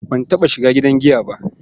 Ban taɓa shiga gidan giya ba.